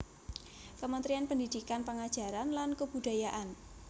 Kamentrian Pendidikan pengajaran lan kebudayaan